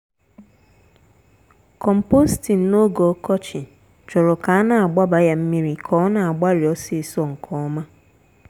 composting n'oge ọkọchị chọrọ ka a n'agbaba ya mmiri ka ona agbari osisọ nke ọma.